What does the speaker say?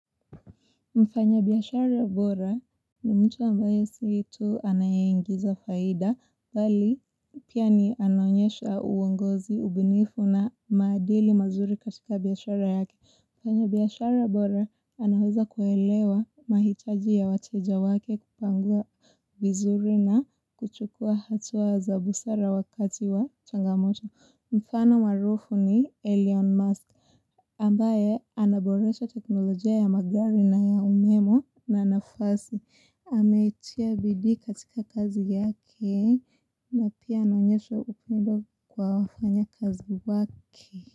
Mfanyabiashara bora ni mtu ambayo si tu anayeingiza faida, bali pia ni anaonyesha uongozi, ubinifu na maadili mazuri katika biashara yake. Mfanyabiashara bora anaweza kuelewa mahitaji ya wateja wake kupanga vizuri na kuchukua hatuwa za busara wakati wa changamoto. Mfano maarufu ni Elyon Musk. Ambaye anaboresha teknolojia ya magari na ya umemo na nafasi ametia bidii katika kazi yake na pia anaonyesha upendo kwa wafanyakazi wake.